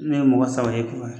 ye mɔgɔ saba ye .